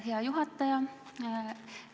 Hea juhataja!